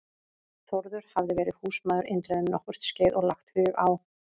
Þórður hafði verið húsmaður Indriða um nokkurt skeið og lagt hug á